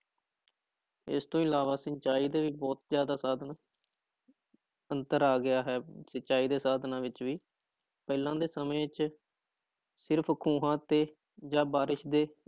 ਇਸ ਤੋਂ ਇਲਾਵਾ ਸਿੰਚਾਈ ਦੇ ਵੀ ਬਹੁਤ ਜ਼ਿਆਦਾ ਸਾਧਨ ਅੰਤਰ ਆ ਗਿਆ ਹੈ ਸਿੰਚਾਈ ਦੇ ਸਾਧਨਾਂ ਵਿੱਚ ਵੀ ਪਹਿਲਾਂ ਦੇ ਸਮੇਂ ਵਿੱਚ ਸਿਰਫ਼ ਖੂਹਾਂ ਅਤੇ ਬਾਰਿਸ਼ ਦੇ